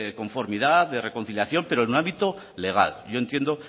conformidad de reconciliación pero en ámbito legal y yo entiendo